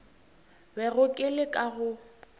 bego ke le ka go